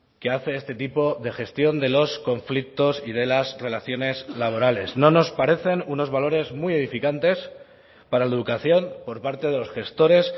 que hace este tipo de gestión de los conflictos y de las relaciones laborales no nos parecen unos valores muy edificantes para la educación por parte de los gestores